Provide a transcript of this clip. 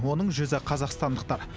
оның жүзі қазақстандықтар